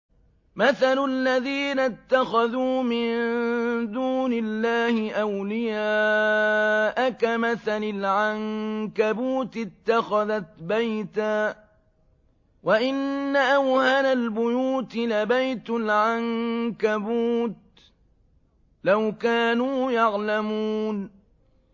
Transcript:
مَثَلُ الَّذِينَ اتَّخَذُوا مِن دُونِ اللَّهِ أَوْلِيَاءَ كَمَثَلِ الْعَنكَبُوتِ اتَّخَذَتْ بَيْتًا ۖ وَإِنَّ أَوْهَنَ الْبُيُوتِ لَبَيْتُ الْعَنكَبُوتِ ۖ لَوْ كَانُوا يَعْلَمُونَ